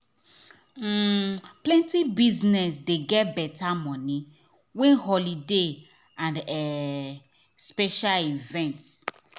um plenty business dey get better money when holiday and um special event.